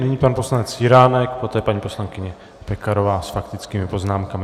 Nyní pan poslanec Jiránek, poté paní poslankyně Pekarová s faktickými poznámkami.